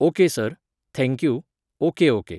okay sir, thank you, okay okay